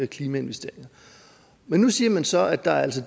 klimainvesteringer men nu siger man så at der altså